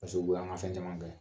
Paseke u bɛ an ŋa fɛn caman kɛ.